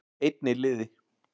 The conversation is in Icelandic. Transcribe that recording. Einn í liði